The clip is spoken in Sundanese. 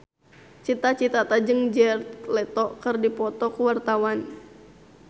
Cita Citata jeung Jared Leto keur dipoto ku wartawan